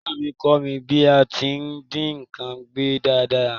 Ìyá mí kọ́ mí bí a ti n dín nkan gbẹ dáradára